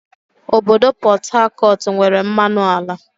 Obodo Pọt Hakọt nwere mmanụ ala